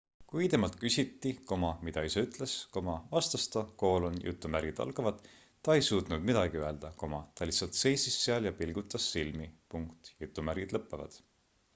kui temalt küsiti mida isa ütles vastas ta ta ei suutnud midagi öelda ta lihtsalt seisis seal ja pilgutas silmi